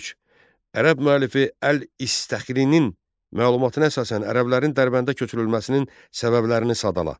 Üç, Ərəb müəllifi Əl-İstəxrinin məlumatına əsasən ərəblərin Dərbəndə köçürülməsinin səbəblərini sadala.